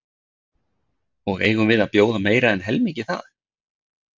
Og eigum við að bjóða meira en helmingi það?